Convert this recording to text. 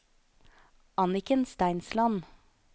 Anniken Steinsland